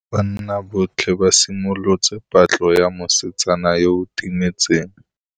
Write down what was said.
Banna botlhê ba simolotse patlô ya mosetsana yo o timetseng.